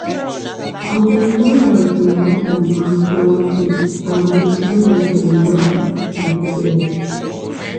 i dey remind am politely am politely and we dey find way to resolve di issue together